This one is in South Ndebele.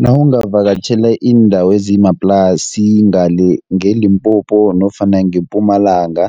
Nawungavakatjhela iindawo ezisemaplasini ngale ngeLimpopo nofana ngePumalanga,